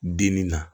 Dimi na